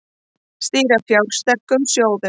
Stýra fjársterkum sjóðum